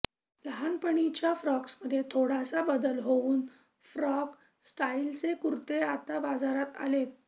लहाणपणीच्या फ्रॉक्समध्ये थोडासा बदल हूऊन फ्रॉक स्टाईलचे कुर्ते आता बाजारात आलेत